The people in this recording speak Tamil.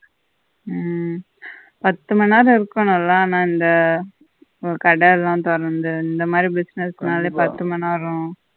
உம் பத்து மணிநேரம் இருக்கோணும் இல்ல இந்த கடையெல்லாம் தொறந்து இந்த மாதிரி business னாலே பத்து மணிநேரம்